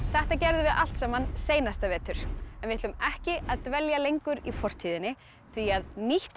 þetta gerðum við allt saman seinasta vetur en við ætlum ekki að dvelja lengur í fortíðinni því að nýtt